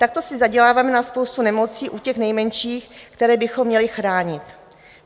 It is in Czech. Takto si zaděláváme na spoustu nemocí u těch nejmenších, které bychom měli chránit.